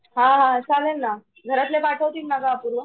हा हा चाललेलं ना घरातले पाठवतील नाग अपूर्वा ?